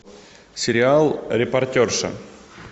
сериал репортерша